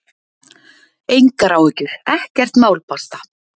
Engar áhyggjur, ekkert mál, basta!